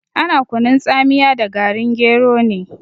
Ana kunun tsamiya da garin gero ne.